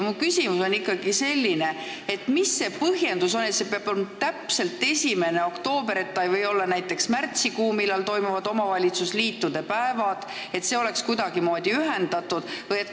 Mu küsimus on selline: mis on põhjendus, et see peab olema täpselt 1. oktoober ega või olla näiteks märtsikuus, kui toimuvad omavalitsusliitude päevad, nii et see oleks kuidagimoodi ühendatud?